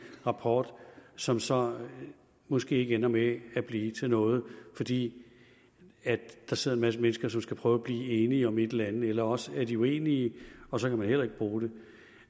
rapport som så måske ender med at blive til noget fordi der sidder en masse mennesker som skal prøve at blive enige om et eller andet eller også er de uenige og så kan man heller ikke bruge det